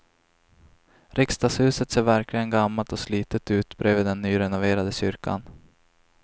Riksdagshuset ser verkligen gammalt och slitet ut bredvid den nyrenoverade kyrkan.